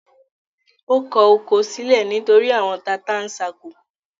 Ó kọ oko sílẹ̀ nítorí “àwọn tata-n-sánkọ”.